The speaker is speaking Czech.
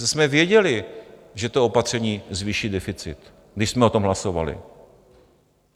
Přece jsme věděli, že to opatření zvýší deficit, když jsme o tom hlasovali.